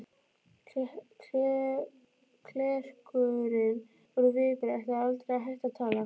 Klerkurinn úr Vigur ætlaði aldrei að hætta að tala.